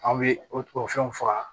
An bɛ o o fɛnw faga